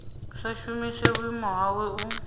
sa shumise vhuimo hawe u